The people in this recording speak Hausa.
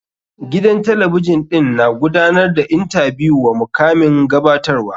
Gidan talabijin ɗin na gudanar da intabiyu wa mukamin gabatarwa.